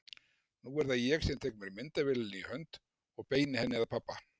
Nú er það ég sem tek mér myndavélina í hönd og beini henni að pabba.